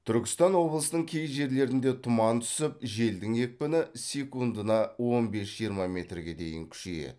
түркістан облысының кей жерлерінде тұман түсіп желдің екпіні секундына он бес жиырма метрге дейін күшейеді